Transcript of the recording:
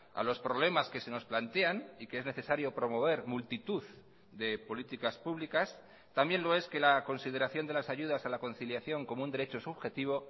a los problemas que se nos plantean y que es necesario promover multitud de políticas públicas también lo es que la consideración de las ayudas a la conciliación como un derecho subjetivo